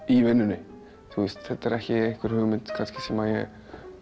í vinnuni þú veist þetta er ekki einhver hugmynd sem ég